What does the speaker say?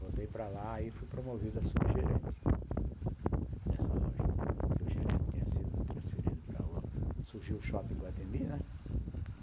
Voltei para lá e fui promovido a subgerente dessa loja, que o gerente tinha sido transferido para... Surgiu o Shopping Iguatemi, né?